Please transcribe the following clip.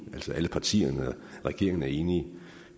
altså alle partierne og regeringen er enige